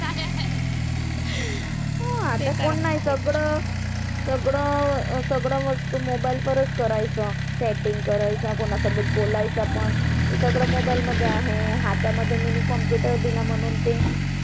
हा आता कोण नाही सगड सगड वस्तू mobile वरचं करायचं. chatting करायचं, कोणासोबत बोलायचं पण ते सगळं mobile मध्ये आहे. हातामध्ये आता mini computer दिलं म्हणून ते.